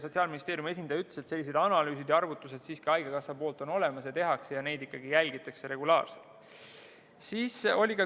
Sotsiaalministeeriumi esindaja ütles, et sellised analüüsid ja arvutused on haigekassal olemas, neid tehakse ja jälgitakse regulaarselt.